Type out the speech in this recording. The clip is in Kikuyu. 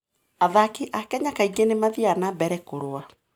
Athaki a Kenya kaingĩ nĩ mathiaga na mbere kũrũa.